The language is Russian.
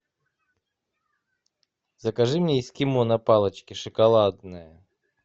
закажи мне эскимо на палочке шоколадное